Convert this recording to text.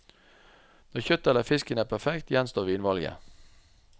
Når kjøttet eller fisken er perfekt, gjenstår vinvalget.